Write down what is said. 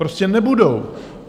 Prostě nebudou!